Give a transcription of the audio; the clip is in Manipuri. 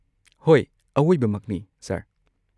ꯍꯣꯏ, ꯑꯋꯣꯏꯕꯃꯛꯅꯤ, ꯁꯔ